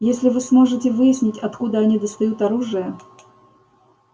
если вы сможете выяснить откуда они достают оружие